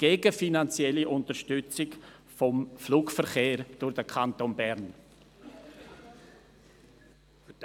Aber inhaltlich möchte ich auf die Aussagen von Luca Alberucci und Bruno Vanoni verweisen.